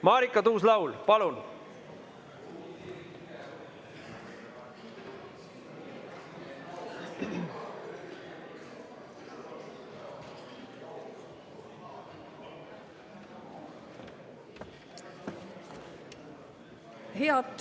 Marika Tuus-Laul, palun!